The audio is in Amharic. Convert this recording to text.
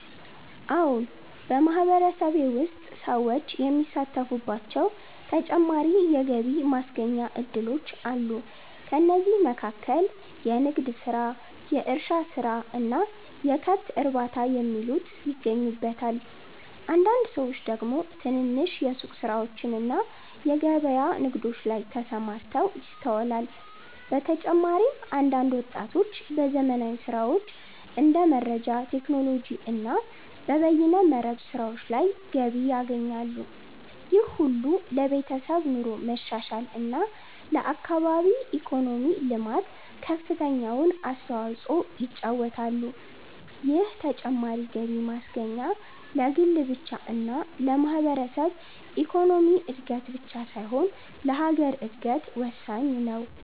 አዎን !በማህበረሰቤ ውስጥ ሰዎች የሚሳተፉባቸው ተጨማሪ የገቢ ማስገኛ እድሎች አሉ። ከእነዚህም መካከል የንግድ ስራ፣ የእርሻ ስራ እና የከብት እርባታ የሚሉት ይገኙበታል። አንዳንድ ሰዎች ደግሞ ትንንሽ የሱቅ ስራዎችና በገበያ ንግዶች ላይ ተሰማርተው ይስተዋላል። በተጨማሪም አንዳንድ ወጣቶች በዘመናዊ ስራዎች እንደ መረጃ ቴክኖሎጂ እና በበይነ መረብ ስራዎች ገቢ ያገኛሉ። ይህ ሁሉ ለቤተሰብ ኑሮ መሻሻል እና ለአካባቢ ኢኮኖሚ ልማት ከፍተኛውን አስተዋጽኦ ይጫወታሉ። ይህ ተጨማሪ ገቢ ማስገኛ ለግል ብቻ እና ለማህበረሰብ ኢኮኖሚ እድገት ብቻ ሳይሆን ለሀገር እድገት ወሳኝ ነው።